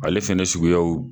Ale fana suguyaw